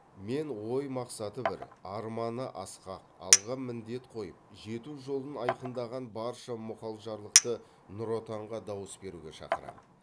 мен ой мақсаты бір арманы асқақ алға міндет қойып жету жолын айқындаған барша мұғалжарлықты нұр отанға дауыс беруге шақырам